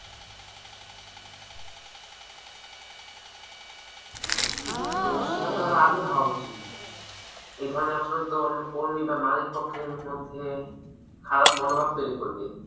তো সেটা তার আগে ভাবা উচিত এ ধরনের আচরণ তো অন্য কর্মী বা মালিক পক্ষের মধ্যে খারাপ মনোভাব তৈরি করবে।